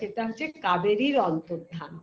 এটা হচ্ছে কাবেরীর অন্তর্ধান